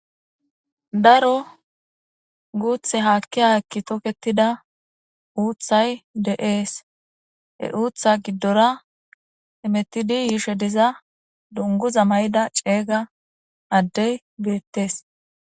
Hayssa misileza bolla tani be'ishin taasi beetishe dizayi aaze gizayssa giddikko issi adde uutha giddon dizayssi qoncce gididi beetishe dees.